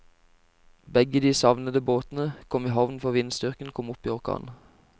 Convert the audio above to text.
Begge de savnede båtene kom i havn før vindstyrken kom opp i orkan.